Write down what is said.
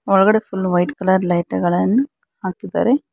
ಒಳಗಡೆ full white colour ಲೈಟುಗಳನ್ನು ಹಾಕಿದ್ದಾರೆ.